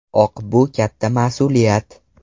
Oq bu katta mas’uliyat.